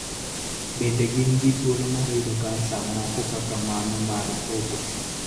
Bende gin gi thuolo mar yudo cancer moko kaka mano mar obo.